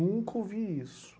Nunca ouvi isso.